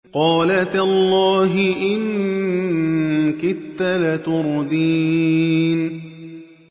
قَالَ تَاللَّهِ إِن كِدتَّ لَتُرْدِينِ